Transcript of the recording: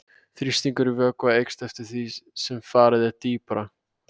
Þrýstingur í vökva eykst eftir því sem farið er dýpra.